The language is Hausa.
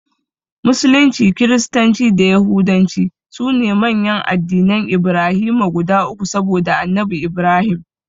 Musulunci, Kiristanci da Yahudanci sune manyan addinan Ibrahima guda uku saboda Annabi Ibrahim.